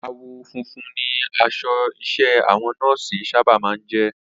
Àwọ̀ funfun ni aṣọ iṣẹ́ àwọn Nọ́ọ̀sì sábà máa ń jẹ́